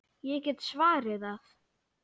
Ég get svarið það.